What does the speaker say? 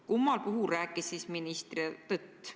Kummal puhul siis minister tõtt rääkis?